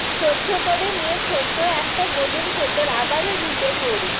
সহ্য করে নিয়ে ছোট্ট একটা গলির ভেতর আবারও ঢুকে পড়ি